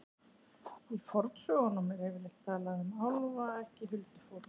Í fornsögunum er yfirleitt talað um álfa, ekki huldufólk.